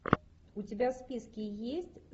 у тебя в списке есть